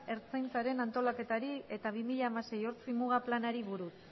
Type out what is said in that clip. ertzaintzaren antolaketari eta bi mila hamasei ortzimuga planari buruz